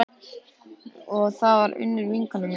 Þetta var Unnur vinkona mín.